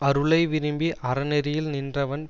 அருளை விரும்பி அற நெறியில் நின்றவன்